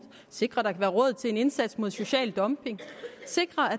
sikrer at være råd til en indsats mod social dumping og sikrer at